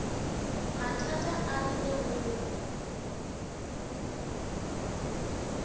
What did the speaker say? mathata a rile go mo